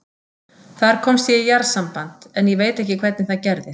Þar komst ég í jarðsamband, en ég veit ekki hvernig það gerðist.